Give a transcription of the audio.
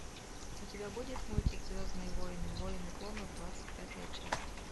у тебя будет мультик звездные войны войны клонов двадцать пятая часть